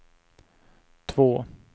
två